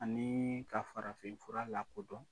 Ani ka farafin fura la kodɔn.